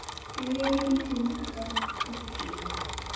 Guðrún, Hulda og Fríða.